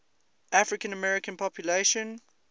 african american population